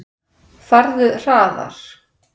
Farðu hraðar.